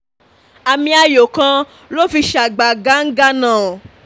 àmì ayò kan ló fi ṣàgbàgangannou